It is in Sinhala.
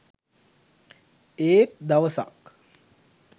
ඒත් දවසක්